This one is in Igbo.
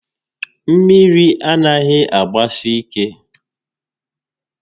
Mmiri anaghị agbasi ike